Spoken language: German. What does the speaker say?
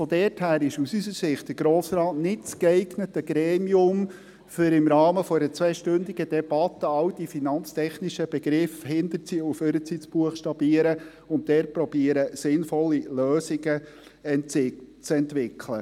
Daher ist aus unserer Sicht der Grosse Rat nicht das geeignete Gremium, um im Rahmen einer zweistündigen Debatte all diese finanztechnischen Begriffe rückwärts und vorwärts zu buchstabieren und dort zu probieren, sinnvolle Lösungen zu entwickeln.